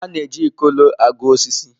A na-eji Ikolo agụ osisi.